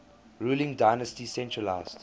ruling dynasty centralised